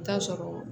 I bi t'a sɔrɔ